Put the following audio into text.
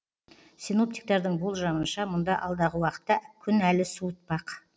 синоптиктердің болжамынша мұнда алдағы уақытта күн әлі де суытпақ